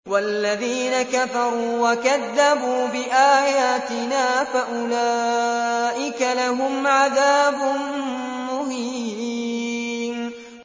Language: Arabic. وَالَّذِينَ كَفَرُوا وَكَذَّبُوا بِآيَاتِنَا فَأُولَٰئِكَ لَهُمْ عَذَابٌ مُّهِينٌ